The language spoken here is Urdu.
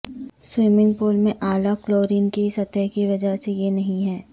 سوئمنگ پول میں اعلی کلورین کی سطح کی وجہ سے یہ نہیں ہے